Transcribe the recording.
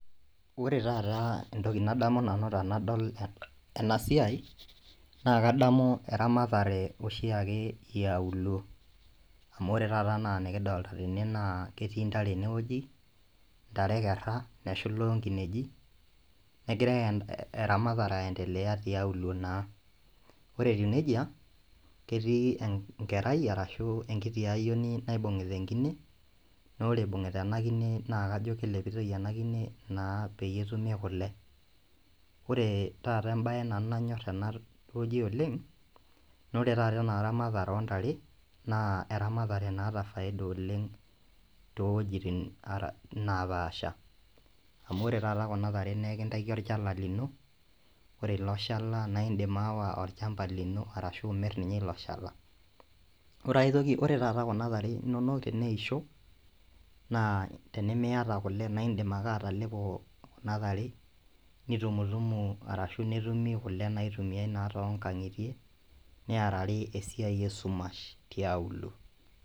Ore taata entoki nadamu nabu tanadol ena siai naa kadamu eramatare oshiake iauluo amu ore taata enaa enikidolta tene naa ketii intare enewueji intare ekerra neshula onkineji negira eramatare aendeleya tialuo naa ore etiu nejia ketii enkerai arashu enkiti ayioni naibung'ita enkine nore ibung'ita enkine naa kajo kelepitoi ena kine naa peyie etumi kule ore taata embaye nanyorr nanu tenewueji oleng nore taata ena ramatare ontare naa eramatare naata faida oleng too towojitin ara napaasha amu ore taata kuna tare nekintaiki orchala lino ore ilo shala naindim aawa olchamba lino arashu imirr ninye ilo shala ore aetoki ore taata kuna tare inonok teneisho naa tenemiyata kule naindim ake atalepo kuna tare nitumutumu arashu netumi kule naitumiae naa tonkang'itie niarari esiai esumash tiauluo.